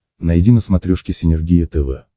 найди на смотрешке синергия тв